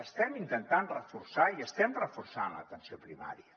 estem intentant reforçar i estem reforçant l’atenció primària